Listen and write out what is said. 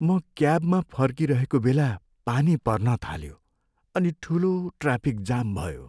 म क्याबमा फर्किरहेको बेला पानी पर्न थाल्यो अनि ठुलो ट्राफिक जाम भयो।